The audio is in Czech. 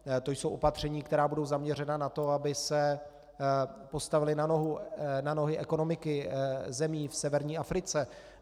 To jsou opatření, která budou zaměřena na to, aby se postavily na nohy ekonomiky zemí v severní Africe.